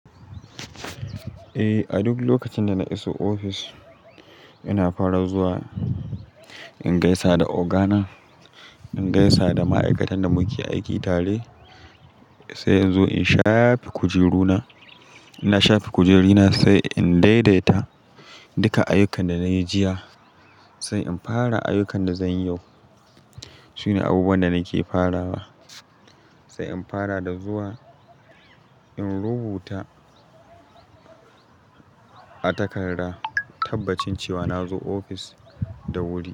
Eh, a duk lokacin da na iso ofis ina fara zuwa in gaisa da ogana, in gaisa da ma'aikatan da muke aiki tare sai in zo in shafe kujeru na. Ina shafe kujeru na sai in daidaita duka ayyukan da na yi jiya sai in fara ayyukan da zan yi yau. Su ne abubuwan da nake farawa sai in fara da zuwa in rubuta a takarda tabbacin cewa na zo ofis da wuri.